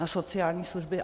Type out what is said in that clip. Na sociální služby.